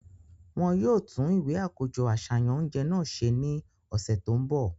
Wọn yóò tun iwe akojọ aṣayan ounjẹ náà se ni ọsẹ to nbo.